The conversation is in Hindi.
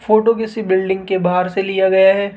फोटो किसी बिल्डिंग के बाहर से लिया गया है।